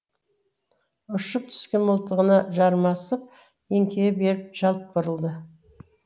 ұшып түскен мылтығына жармасып еңкейе беріп жалт бұрылды